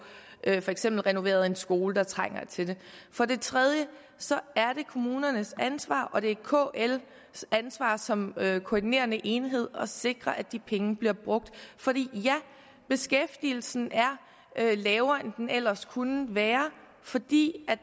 eksempel renoveret en skole der trænger til det for det tredje er det kommunernes ansvar og det er kls ansvar som koordinerende enhed at sikre at de penge bliver brugt fordi beskæftigelsen er lavere end den ellers kunne være fordi